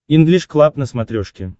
инглиш клаб на смотрешке